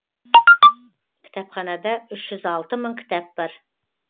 кітапханада үш жүз алты мың кітап бар